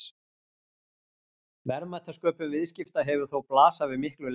verðmætasköpun viðskipta hefur þó blasað við miklu lengur